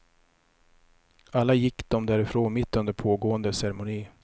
Alla gick de därifrån mitt under pågående ceremoni.